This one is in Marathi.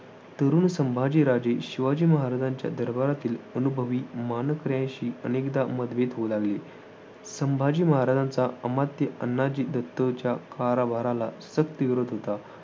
तरुण संभाजीराजांचे शिवाजी महाराजांच्या दरबारातील अनुभवी मानकऱ्यांशी अनेकदा मतभेद होऊ लागले. संभाजी महाराजांचा अमात्य अण्णाजी दत्तोंच्या कारभाराला सक्त विरोध होता.